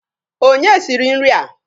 Onye siri nri a?